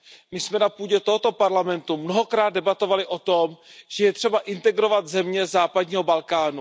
My jsme na půdě tohoto Parlamentu mnohokrát debatovali o tom, že je třeba integrovat země západního Balkánu.